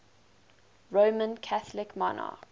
roman catholic monarchs